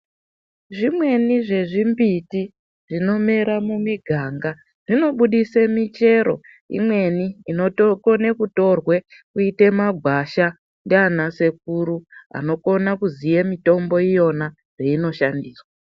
Zvimweni zvezvimbiti zvinomera mumiganga zvinobudise michero imweni inotokone kutorwe Kuite magwasha ndiana sekuru anokone kuziye mitombo iyo zveino shandiswa.